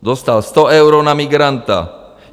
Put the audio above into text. Dostal 100 eur na migranta.